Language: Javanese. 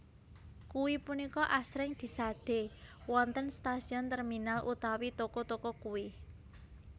Kuwe punika asring disade wonten stasiun terminal utawi toko toko kuwe